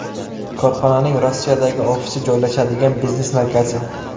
Korxonaning Rossiyadagi ofisi joylashadigan biznes markazi.